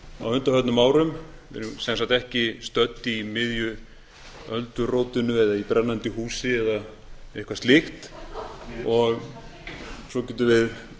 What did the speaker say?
á undanförnum árum við erum sem sé ekki stödd í miðju öldurótinu eða í brennandi húsi eða eitthvað slíkt svo getum við